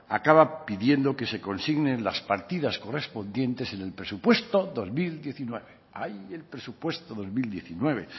acaba pidiendo que se consignen las partidas correspondientes en el presupuesto dos mil diecinueve ay el presupuesto dos mil diecinueve